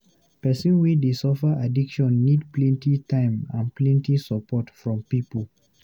Pesin wey dey suffer addiction need plenty time and plenty support from pipu.